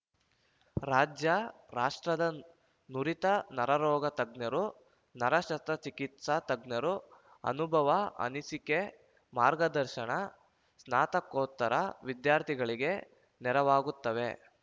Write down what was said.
ರಾಜ್ಯ ರಾಷ್ಟ್ರದನ ನುರಿತ ನರರೋಗ ತಜ್ಞರು ನರ ಶಸ್ತ್ರಚಿಕಿತ್ಸಾ ತಜ್ಞರ ಅನುಭವ ಅನಿಸಿಕೆ ಮಾರ್ಗದರ್ಶನ ಸ್ನಾತಕೋತ್ತರ ವಿದ್ಯಾರ್ಥಿಗಳಿಗೆ ನೆರವಾಗುತ್ತವೆ